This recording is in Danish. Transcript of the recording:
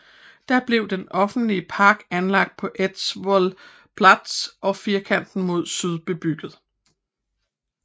Da blev den offentlige park anlagt på Eidsvolls plass og firkanten mod syd bebygget